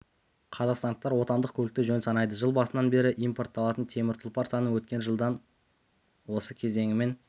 қазақстандықтар отандық көлікті жөн санайды жыл басынан бері импортталатын темір тұлпар саны өткен жылдың осы кезеңімен